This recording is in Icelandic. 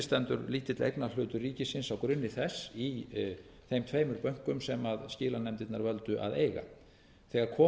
stendur lítill eignarhlutur ríkisins á grunni þess í þeim tveimur bönkum sem skilanefndirnar völdu að eiga þegar kom